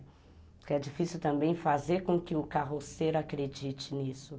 Porque é difícil também fazer com que o carroceiro acredite nisso.